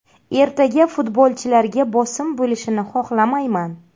Ertaga futbolchilarga bosim bo‘lishini xohlamayman.